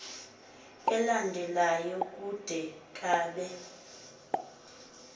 elandelayo kude kabe